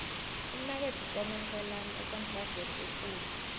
umnakwethu komeselani ekontrageni ekulu